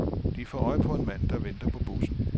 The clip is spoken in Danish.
De får øje på en mand, der venter på bussen.